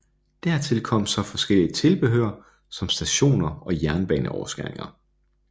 Dertil kom så forskelligt tilbehør som stationer og jernbaneoverskæringer